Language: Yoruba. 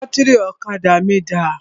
Bátìrì ọ̀kadà mí dà?